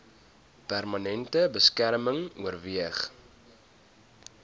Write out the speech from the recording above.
permanente beskerming oorweeg